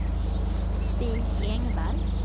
Stig Engvall